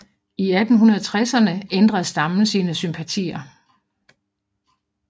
I 1860erne ændrede stammen sine sympatier